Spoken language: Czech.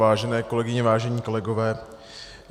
Vážené kolegyně, vážení kolegové.